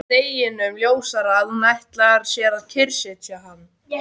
Deginum ljósara að hún ætlar sér að kyrrsetja hann!